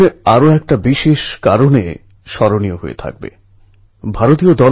খেলোয়াড়দের বাইরে বেরনোর রাস্তা বন্ধ হয়ে যায়